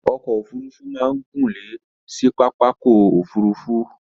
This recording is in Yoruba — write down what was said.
Okò òfurufú ma n gúnlè si pàpàkò òfurufú